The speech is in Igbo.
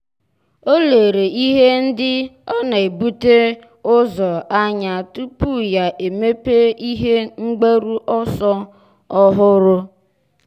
ọ́ lérè ihe ndị ọ́ nà-ebute ụzọ anya tupu yá èmépé ihe mgbaru ọsọ ọ́hụ́rụ́.